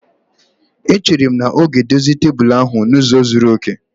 Echere m na ọ ga-edozi tebụl ahụ n'ụzọ zuru oke